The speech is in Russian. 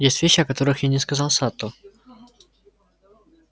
есть вещи о которых я не сказал сатту